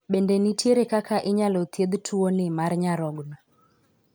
Bende nitiere kaka inyalo thiedh tuo ni mar nyarogno?